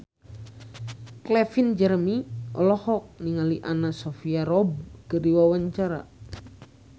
Calvin Jeremy olohok ningali Anna Sophia Robb keur diwawancara